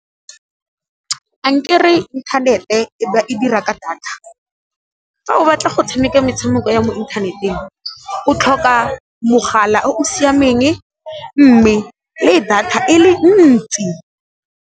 Ankere inthanete e dira ka data, fa o batla go tshameka metshameko ya mo inthaneteng o tlhoka mogala o o siameng mme le data e le ntsi.